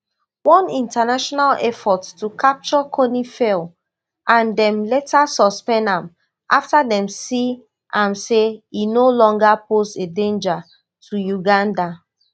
one international effort to capture kony fail and dem later suspend am after dem see am say e no longer pose a danger to uganda